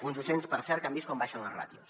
uns docents per cert que han vist com baixen les ràtios